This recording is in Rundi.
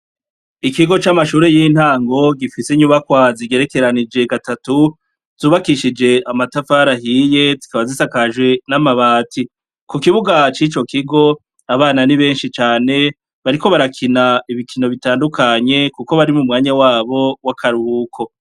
Ikigo c'amashure y'intango gifise inyubakwa zigerekeranije gatatu, zubakishije amatafari ahiye, zikaba zisakajwe n'amabati. ku kibuga c'ico kigo abana ni benshi cane. Bariko barakina ibikino bitandukanye kuko bari mu mwanya wabo w'akaruhuko.